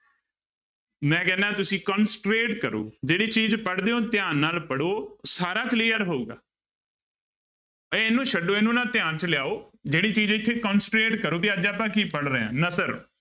ਮੈਂ ਕਹਿਨਾ ਤੁਸੀਂ concentrate ਕਰੋ ਜਿਹੜੀ ਚੀਜ਼ ਪੜ੍ਹਦੇ ਹੋ ਧਿਆਨ ਨਾਲ ਪੜ੍ਹੋ, ਸਾਰਾ clear ਹੋਊਗਾ ਇਹਨੂੰ ਛੱਡੋ ਇਹਨੂੰ ਨਾ ਧਿਆਨ ਚ ਲਿਆਓ, ਜਿਹੜੀ ਚੀਜ਼ ਇੱਥੇ concentrate ਕਰੋ ਵੀ ਅੱਜ ਆਪਾਂ ਕੀ ਪੜ੍ਹ ਰਹੇ ਹਾਂ ਨਸਰ